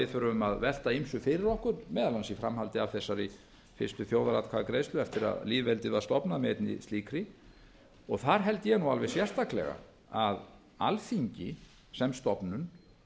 þurfum að velta ýmsu fyrir okkur meðal annars í framhaldi af þessari fyrstu þjóðaratkvæðagreiðslu eftir að lýðveldið var stofnað með einni slíkri þar held ég nú alveg sérstaklega að alþingi sem stofnun